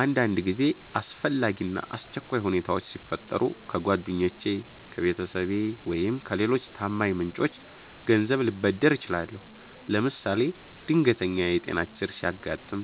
አንዳንድ ጊዜ አስፈላጊ እና አስቸኳይ ሁኔታዎች ሲፈጠሩ ከጓደኞቼ፣ ከቤተሰቤ ወይም ከሌሎች ታማኝ ምንጮች ገንዘብ ልበደር እችላለሁ። ለምሳሌ ድንገተኛ የጤና ችግር ሲያጋጥም፣